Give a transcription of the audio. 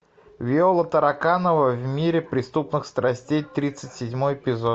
виола тараканова в мире преступных страстей тридцать седьмой эпизод